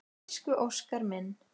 Elsku Óskar minn.